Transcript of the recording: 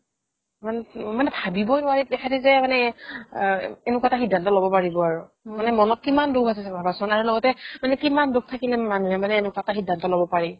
ভাৱিবই নোৱাৰি তেখেতে যে মানে অ এনেকুৱা এটা সিদ্ধান্ত ল'ব পাৰিব আৰু মানে মনত কিমান দুখ আছে যে ভাবাচোন আৰু লগতে কিমান দুখ থাকিলে মানুহে মানে এনেকুৱা এটা সিদ্ধান্ত ল'ব পাৰি